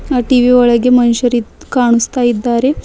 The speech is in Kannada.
ಆ ಟಿ_ವಿ ಒಳಗೆ ಮನುಷ್ಯರು ಇದ್ದ ಕಾಣುಸ್ತಾ ಇದ್ದಾರೆ.